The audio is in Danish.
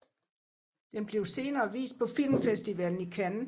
Den blev senere vist på Filmfestivalen i Cannes